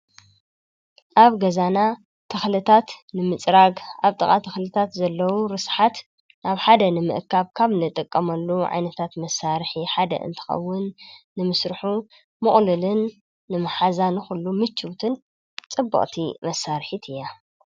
ኣብ ገዛና ተኽልታት ንምጽራግ ኣብ ጥቓ ተኽልታት ዘለዉ ርስሓት ናብ ሓደ ንምእካብ ካም ንጠቀመሉ ዓይነታት መሳርኂ ሓደ እንትኸውን ንምሥርሑ ምቕሉልን ንመሓዛን ዂሉ ምችውትን ጽበቕቲ መሣርሒት እያ።